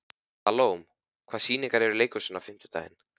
Salome, hvaða sýningar eru í leikhúsinu á fimmtudaginn?